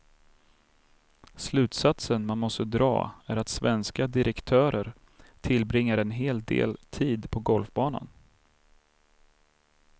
Slutsatsen man måste dra är att svenska direktörer tillbringar en hel del tid på golfbanan.